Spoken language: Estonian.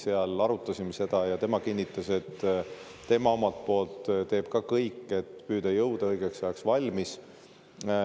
Me arutasime seda ja tema kinnitas, et ta teeb omalt poolt kõik, et jõuda õigeks ajaks valmis.